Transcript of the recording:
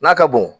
N'a ka bon